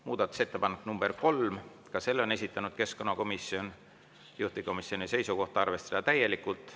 Muudatusettepanek nr 3, selle on esitanud keskkonnakomisjon, juhtivkomisjoni seisukoht on arvestada täielikult.